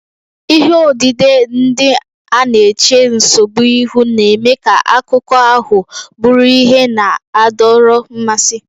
Ihe odide ndị a na-eche nsogbu ihu, na-eme ka akụkọ ahụ bụrụ ihe na-adọrọ mmasị.